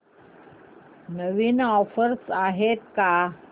नवीन offers आहेत का